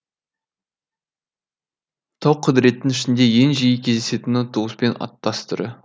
тауқұдіреттің ішінде ең жиі кездесетіні туыспен аттас түрі